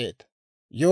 Daana 62,700;